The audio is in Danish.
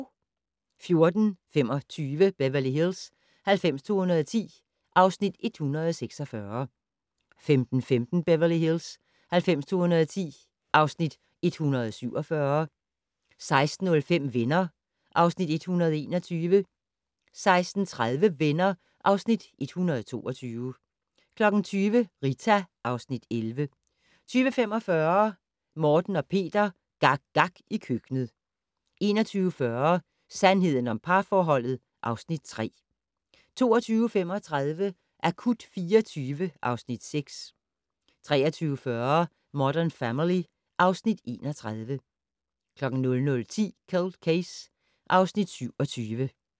14:25: Beverly Hills 90210 (Afs. 146) 15:15: Beverly Hills 90210 (Afs. 147) 16:05: Venner (Afs. 121) 16:30: Venner (Afs. 122) 20:00: Rita (Afs. 11) 20:45: Morten og Peter - gak gak i køkkenet 21:40: Sandheden om parforholdet (Afs. 3) 22:35: Akut 24 (Afs. 6) 23:40: Modern Family (Afs. 31) 00:10: Cold Case (Afs. 27)